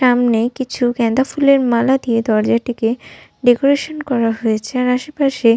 সামনে কিছু গেন্দা ফুলের মালা দিয়ে দরজাটিকে ডেকোরেশন করা হয়েছে আর আশে পাশে --